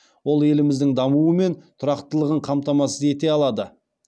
ол еліміздің дамуы мен тұрақтылығын қамтамасыз ете алды